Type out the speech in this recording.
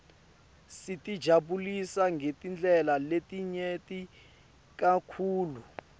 sitijabulisa ngetindlela letinyenti kakhulu